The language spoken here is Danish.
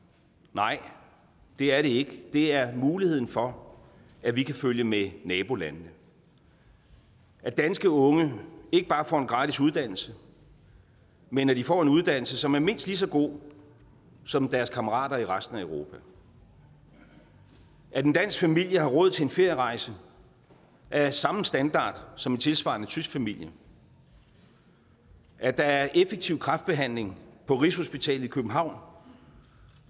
nej det er det ikke det er muligheden for at vi kan følge med nabolandene at danske unge ikke bare får en gratis uddannelse men at de får en uddannelse som er mindst lige så god som deres kammeraters i resten af europa at en dansk familie har råd til en ferierejse af samme standard som en tilsvarende tysk familie at der er effektiv kræftbehandling på rigshospitalet i københavn